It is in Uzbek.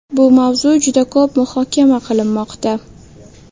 Bu mavzu juda ko‘p muhokama qilinmoqda.